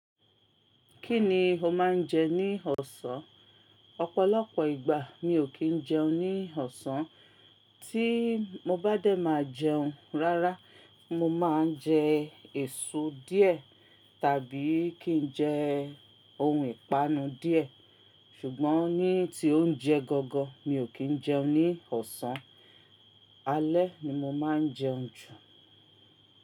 Kí ni o máa ń jẹ ní ọ̀sán? Ọ̀pọ̀lọpọ̀ ìgbà mi ò kí ń jẹun ní ọ̀sán. Tí mo bá dé máa jẹun, rárá mo máa ń jẹ èso díẹ̀ tàbí kí n jẹ ohun ìpanu díẹ̀. Ṣùgbọ́n ní tí ónjẹ gangan, mi ò kí ń jẹun ní ọ̀sán. Alẹ́ ni mo máa ń jẹun jù.